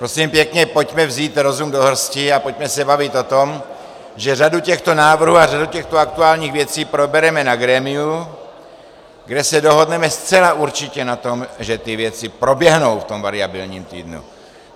Prosím pěkně, pojďme vzít rozum do hrsti a pojďme se bavit o tom, že řadu těchto návrhů a řadu těchto aktuálních věcí probereme na grémiu, kde se dohodneme zcela určitě na tom, že ty věci proběhnou v tom variabilním týdnu.